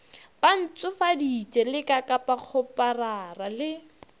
ba ntshofaditše lekakapa kgoparara le